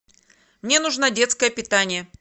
мне нужно детское питание